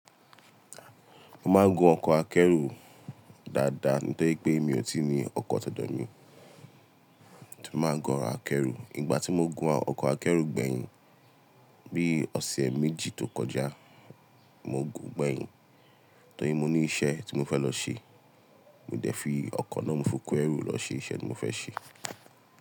Mo máa ń gun ọkọ̀ akẹ́rù dáadáa, torí pé mi ò tíì ní ọkọ̀ titemi, mo máa ń gun akẹ́rù. Ìgbà tí mo gun ọkọ̀ akẹ́rù gbẹ̀yìn, bí i ọ̀sẹ̀ méjì tó kọjá, mo gùn gbẹ̀yìn. Torí mo ní iṣẹ́ tí mo fẹ́ lọ ṣe. Mo dẹ̀ fi ọkọ̀ náà mú fi ko ẹ̀rù lọ ṣe iṣẹ́ tí mo fẹ́ ṣe.